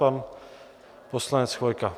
Pan poslanec Chvojka.